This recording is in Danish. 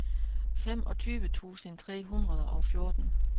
femogtyve tusind tre hundrede og fjorten